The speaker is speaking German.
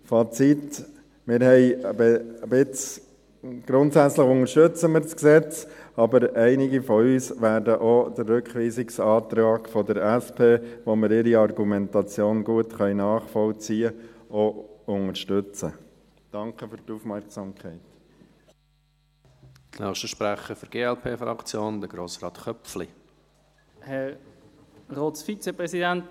Fazit: Grundsätzlich unterstützen wir das Gesetz, aber einige von uns werden auch den Rückweisungsantrag der SP, deren Argumentation wir gut nachvollziehen können, unterstützen.